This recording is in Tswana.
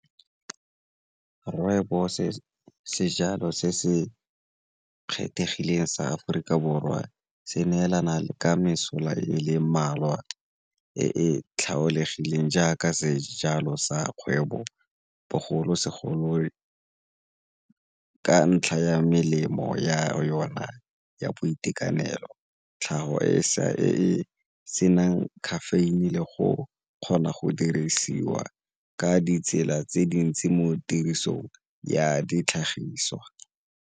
Rooibos, sejalo se se kgethegileng sa Aforika Borwa se neelana ka mesola e le mmalwa e tlhaolegileng jaaka sejalo sa kgwebo bogolosegolo ka ntlha ya melemo ya yona ya boitekanelo tlhago e e senang caffeine le go kgona go dirisiwa ka ditsela tse dintsi mo tirisong ya ditlhagiswa.